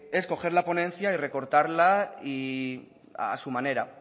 es coger la ponencia y recortarla a su manera